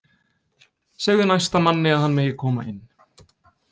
Segðu næsta manni að hann megi koma inn